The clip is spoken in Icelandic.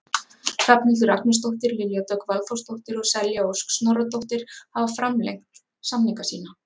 Hrafnhildur Agnarsdóttir, Lilja Dögg Valþórsdóttir og Selja Ósk Snorradóttir hafa framlengt samninga sína.